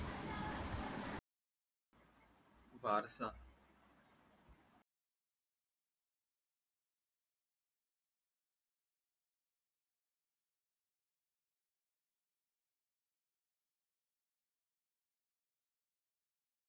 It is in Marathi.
पारसा